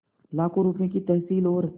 लाखों रुपये की तहसील और